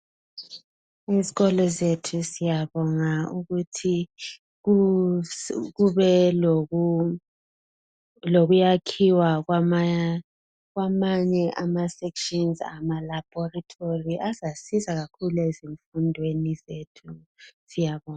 Esikolo sethu siyabonga ukuthi kube lokuyakhiwa kwamanye ama "sections" ama "Laboratory" azasiza kakhulu ezifundweni zethu siyabonga.